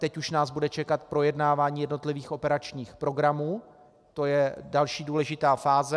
Teď už nás bude čekat projednávání jednotlivých operačních programů, to je další důležitá fáze.